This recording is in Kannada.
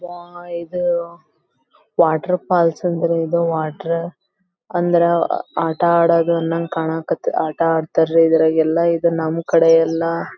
ವಾ ಇದು ವಾಟರ್ ಫಾಲ್ಸ್ ಅಂದರೆ ಇದು ವಾಟರ್ ಅಂದ್ರ ಆಟ ಆಡೋದ್ ಅನ್ನೊಂಗ್ ಕಣಕ್ ಆಟ ಅಡ್ತರ್ ರೀ ಇದ್ರಾಗ್ ಎಲ್ಲ ನಂಕಡೆ ಎಲ್ಲ--